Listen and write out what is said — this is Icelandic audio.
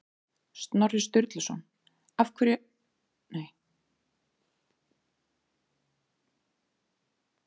Snorri Sturluson Af hverju ertu stoltastur í lífi þínu?